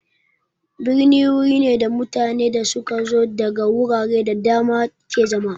Birni wuri ne da mutanen da su ka zo daga wurare da dama ke zama.